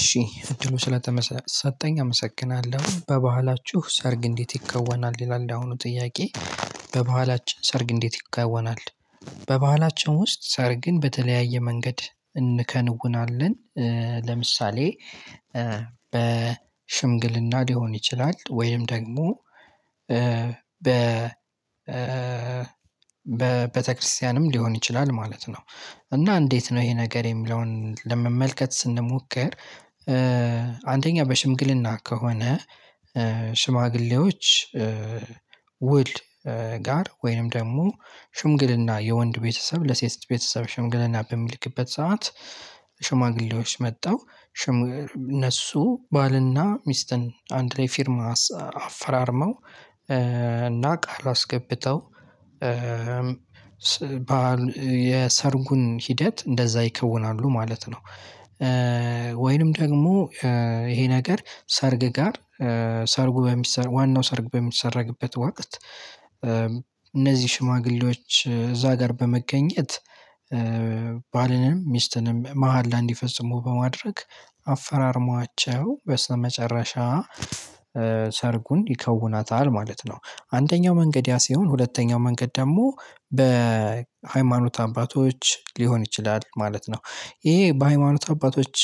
እሺ እድሉ ስለተሰጠኝ አመሰግናለሁ በባህላችሁ ሰርግ እንዴት ይከወናል ይላል ያሁኑ ጥያቄ? በባህላችን ሰርግ እንዴት ይከወናል? በባህላችን ውስጥ ሰርግን በተለያየ መንገድ እንከነውናለን ለምሳሌ በሽምግልና ሊሆን ይችላል ወይም ደግሞ በ በቤተክርስቲያንም ሊሆን ይችላል ማለት ነው። እና እንዴት ነው ይሄ ነገር የሚለውን ለመመልከት ስንሞከር አንደኛ በሽምግልና ከሆነ ሽማግሌዎች ውል ጋር ወይንም ደግሞ ሽምግልና የወንድ ቤተሰብ ለሴት ቤተሰብ ሽምግሌና በሚልክበት ሰዓት ሽማግሌዎች መተው ሽም እነሱ ባልና ሚስትን አንድ ላይ ፊርማ አፈራርመው እና ቃል አስገብተው የሰርጉን ሂደት እንደዛ ይከውናሉ ማለት ነው። ወይንም ደግሞ ይሄ ነገር ሰርግ ጋር ሰርጉ በሚሰረግበት ዋናው ሰርግ በሚሰረግበት ወቅት እነዚህ ሽማግሌዎች እዛ ጋር በመገኘት ባልንም ሚስትንም መሃላ እንዲፈጽሙ በማድረግ አፈራርመዋቸው በስመጨረሻ ሰርጉን ይከውኑታል ማለት ነው። አንደኛው መንገድ ያ ሲሆን ሁለተኛው መንገድ ደግሞ በሃይማኖት አባቶች ሊሆን ይችላል ማለት ነው። ይሄ በሃይማኖት አባቶች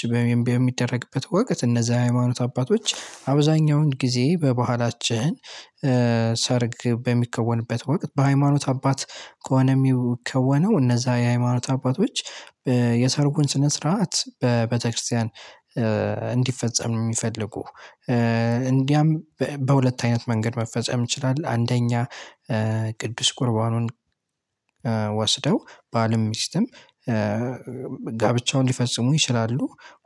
በሚደረግበት ወቅት እነዛ የሃይማኖት አባቶች አብዛኛውን ጊዜ በባህላችን ሰርግ በሚከወንበት ወቅት በሃይማኖት አባት ከሆነ የሚከወነው እነዛ የሃይማኖት አባቶች የሰርጉን ስነ ስርዓት በቤተክርስቲያን እንዲፈጸም ነው የሚፈልጉ እንዲያም በሁለት አይነት መንገድ መፈጸም ይችላል አንደኛ ቅዱስ ቁርባኑን ወስደው ባልም ሚስትም ጋብቻውን ሊፈፅሙ ይችላሉ።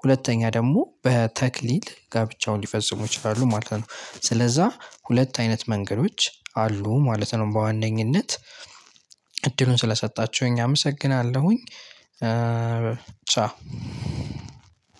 ሁለተኛ ደግሞ በተክሊል ጋብቻውን ሊፈጽሙ ይችላሉ ማለት ነው ስለዛ ሁለት አይነት መንገዶች አሉ ማለት ነው። በዋነኝነት እድሉን ስለሰጣችሁኝ አመሰግናለሁኝ። ቻው።